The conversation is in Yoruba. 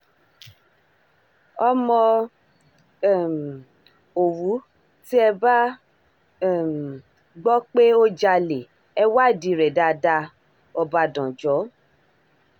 ọmọ um òwú tí ẹ bá um gbọ́ pé ó jalè ẹ̀ wádìí rẹ̀ dáadáa ọbadànjọ́